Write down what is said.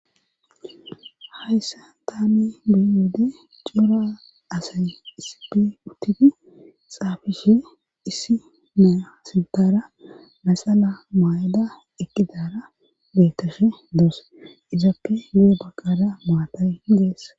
Hayssa taami bey wode cora asay issipe uttidi xaafishe issi meyasidara maxala maay7ada ekkidara bettashe doos izappe yu7o baqada maatay geess.